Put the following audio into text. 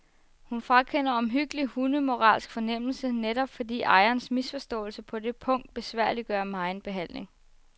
Hun frakender omhyggeligt hunde moralsk fornemmelse, netop fordi ejerens misforståelse på det punkt besværliggør megen behandling.